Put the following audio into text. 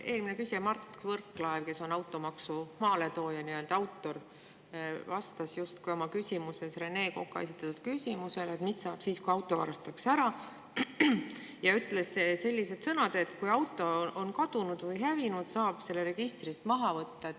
Eelmine küsija Mart Võrklaev, kes on nii-öelda automaksu maaletooja, autor, vastas justkui oma küsimuses Rene Koka esitatud küsimusele, mis saab siis, kui auto varastatakse ära, ja ütles sellised sõnad, et kui auto on kadunud või hävinud, siis saab selle registrist maha võtta.